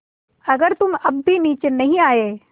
अगर तुम अब भी नीचे नहीं आये